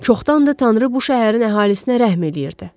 Çoxdandır Tanrı bu şəhərin əhalisinə rəhm eləyirdi.